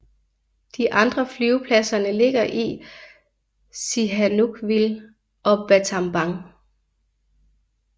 De andre flyvepladserne ligger i Sihanoukville og Battambang